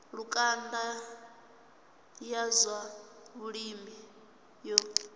lukanda ya zwa vhulimi yo